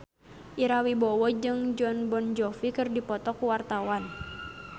Ira Wibowo jeung Jon Bon Jovi keur dipoto ku wartawan